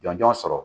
Jɔn jɔn sɔrɔ